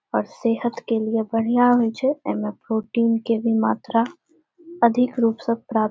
और सेहत के लिए बढ़िया होइ छै एमे प्रोटीन के भी मात्रा अधिक रूप से प्राप्त --